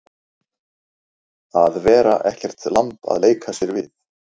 Að vera ekkert lamb að leika sér við